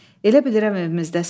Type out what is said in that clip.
Elə bilirəm evimizdəsən.